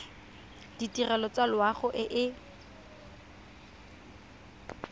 ditirelo tsa loago e e